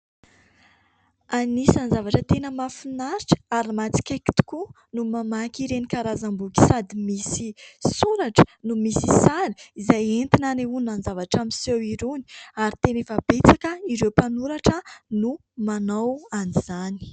Anisan'ny zavatra tena mahafinaritra ary mahatsikaiky tokoa no mamaky ireny karazam-boky sady misy soratra no misy sary, izay entina anehoana ny zavatra miseho irony. Ary teny efa betsaka ireo mpanoratra no manao an'izany.